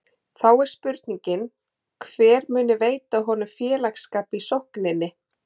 Þá er spurningin hver muni veita honum félagsskap í sókninni?